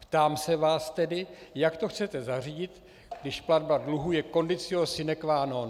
Ptám se vás tedy, jak to chcete zařídit, když platba dluhů je conditio sine qua non.